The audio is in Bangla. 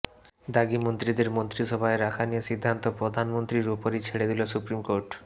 দাগী মন্ত্রীদের মন্ত্রিসভায় রাখা নিয়ে সিদ্ধান্ত প্রধানমন্ত্রীর উপরই ছেড়ে দিল সুপ্রিম কোর্ট